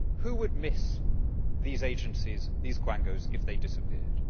Who would miss these agencies, these quangos, if they disappeared?